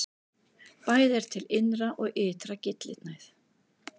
Bæði er til innri og ytri gyllinæð.